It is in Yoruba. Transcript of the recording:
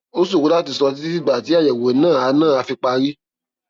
ó ṣòro láti sọ títí dìgbà tí àyẹwò náà á náà á fi parí